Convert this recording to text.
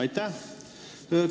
Aitäh!